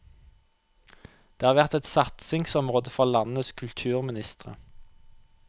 Det har vært et satsingsområde for landenes kulturministre.